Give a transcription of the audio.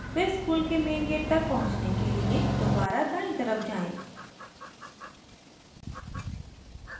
फिर स्कूल के main gate तक पहुँचने के लिए दोबारा दायीं तरफ जाएँ